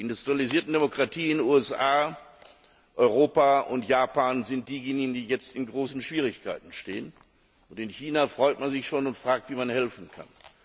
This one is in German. Die industrialisierten Demokratien USA, Europa und Japan sind diejenigen, die jetzt in großen Schwierigkeiten sind, und in China freut man sich schon und fragt, wie man helfen kann.